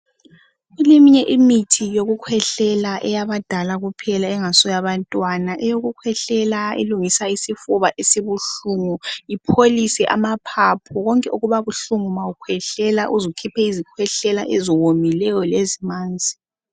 Kuleminye imithi yokukhwehlela eyabadala kuphela engasiyo yabantwana .Eyokukhwehlela elungisa isifuba esibuhlungu ipholise amaphaphu konke okuba buhlungu ma ukhwehlela uzu khiphe izikhwehlela eziwomileyo lezimanzi.